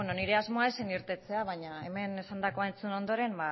nire asmoa ez zen irtetea baina hemen esandakoa entzun ondoren